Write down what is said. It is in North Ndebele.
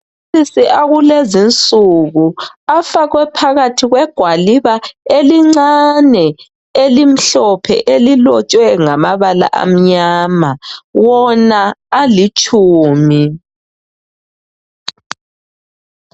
Amaphilisi akulezi nsuku afakwe phakathi kwegwaliba elincane elimhlophe elilotshwe ngamabala amnyama wona alitshumi.